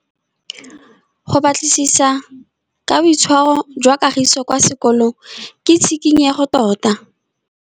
Go batlisisa ka boitshwaro jwa Kagiso kwa sekolong ke tshikinyêgô tota.